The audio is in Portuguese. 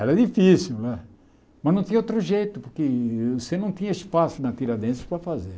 Era difícil né, mas não tinha outro jeito, porque você não tinha espaço na Tiradentes para fazer.